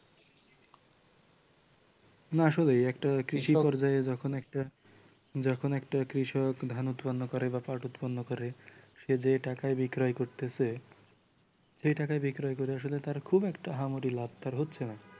না আসলে একটা কৃষি পর্যায়ে যখন একটা যখন একটা কৃষক ধান উৎপন্ন করে বা পাট উৎপন্ন করে সে যে টাকায় বিক্রয় করতেছে সে টাকায় বিক্রয় করে আসলে তার খুব একটা আহামরি লাভ তার হচ্ছে না